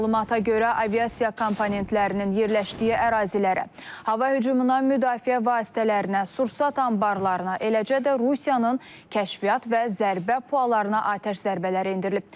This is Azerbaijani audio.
Məlumata görə aviasiya komponentlərinin yerləşdiyi ərazilərə, hava hücumundan müdafiə vasitələrinə, sursat anbarlarına, eləcə də Rusiyanın kəşfiyyat və zərbə puallarına atəş zərbələri endirilib.